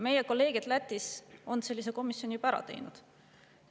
Meie kolleegid Lätis on sellise komisjoni juba ära teinud.